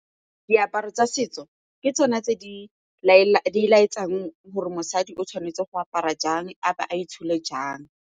Diaparo tsa setso ke tsona tse di laetsang gore mosadi o tshwanetse go apara jang a ba a itshole jang.